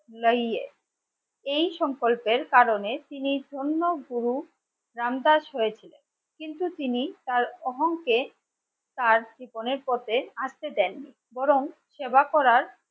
এই সংকল্পের কারণে তিনি ধন্য গুরু রাম দাস হয়েছে কিন্তু তিনি তার অহংকে তার জীবনের পথে আটকে দেন বরং সেবা করার